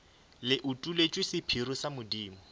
le utolletšwe sephiri sa modimo